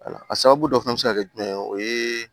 A sababu dɔ fɛnɛ be se ka kɛ jumɛn ye o ye